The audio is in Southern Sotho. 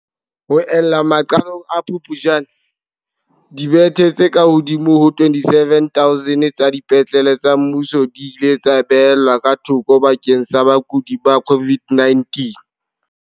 Ho ella maqalong a Phuptjane, dibethe tse kahodimo ho 27 000 tsa dipetlele tsa mmuso di ile tsa beellwa ka thoko bakeng sa bakudi ba COVID-19.